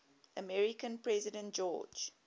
american president george